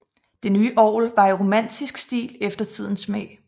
Det nye orgel var i romantisk stil efter tidens smag